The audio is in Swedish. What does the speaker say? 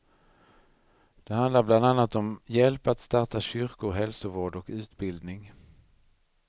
Det handlar bland annat om hjälp att starta kyrkor, hälsovård och utbildning.